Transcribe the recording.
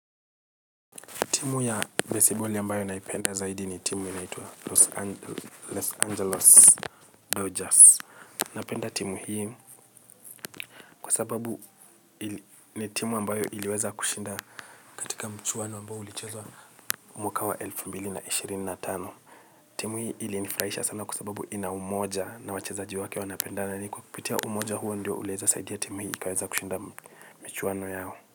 Timu ya baseball ambayo naipenda zaidi ni timu inaitwa Los Angeles Belgers. Napenda timu hii kwa sababu ni timu ambayo iliweza kushinda katika mchuano ambayo ulichezwa mwaka wa elfu mbili na ishirini na tano. Timu hii ilinifurahisha sana kwa sababu ina umoja na wachezaji wa wanapenda. Na ni kwa kukipitia umoja huo ndio uliweza saidia timu hii ikaweza kushinda michuano yao.